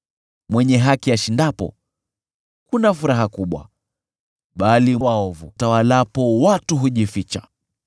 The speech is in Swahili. Mwenye haki ashindapo, kuna furaha kubwa, bali waovu watawalapo, watu hujificha.